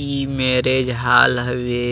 ई marriage hall हवे